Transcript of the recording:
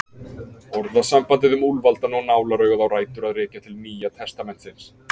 Orðasambandið um úlfaldann og nálaraugað á rætur að rekja til Nýja testamentisins.